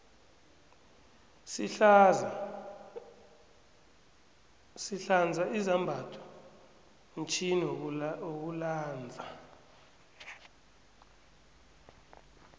sihlanza izambatho mtjhini wokulanza